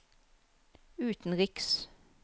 utenriks